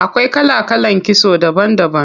Akwai kala kalan kitso daban daban.